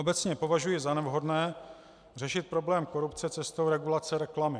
Obecně považuji za nevhodné řešit problém korupce cestou regulace reklamy.